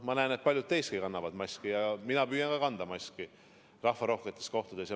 Ma näen, et paljud teistki kannavad maski, ja ka mina püüan kanda maski rahvarohketes kohtades.